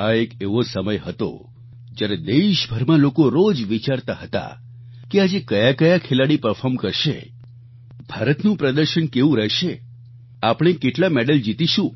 આ એક એવો સમય હતો જ્યારે દેશભરમાં લોકો રોજ વિચારતા હતા કે આજે કયા કયા ખેલાડી પરફોર્મ કરશે ભારતનું પ્રદર્શન કેવું રહેશે આપણે કેટલા મેડલ જીતીશું